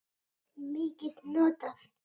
mikið notað?